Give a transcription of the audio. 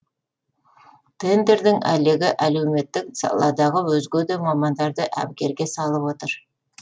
тендердің әлегі әлеуметтік саладағы өзге де мамандарды әбігерге салып отыр